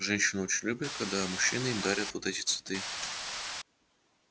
женщины очень любят когда мужчины им дарят вот эти цветы